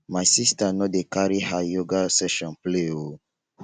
my sista no dey carry her yoga session play o.